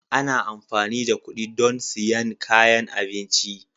Ana amfani da kuɗi don siyan kayan abinci